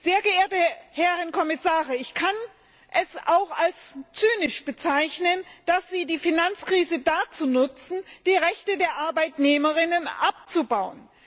Sehr geehrte Herren Kommissare, ich kann es auch als zynisch bezeichnen, dass Sie die Finanzkrise dazu nutzen, die Rechte der Arbeitnehmerinnen und Arbeitnehmer abzubauen.